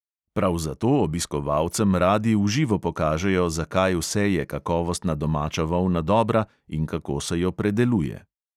Prav zato obiskovalcem radi v živo pokažejo, za kaj vse je kakovostna domača volna dobra in kako se jo predeluje.